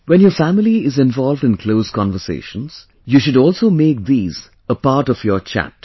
When your family is involved in close conversations, you should also make these a part of your chat